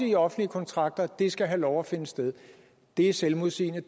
i offentlige kontrakter skal have lov at finde sted det er selvmodsigende